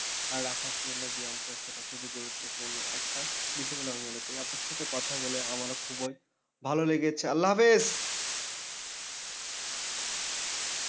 আর রাখার জন্য ব্যায়ামচর্চাটা খুবই গুরুত্বপূর্ণ একটা বিষয় বলে আমি মনে করি। আপনার সাথে কথা বলে আমারও খুবই ভালো লেগেছে, আল্লাহ হাফিজ।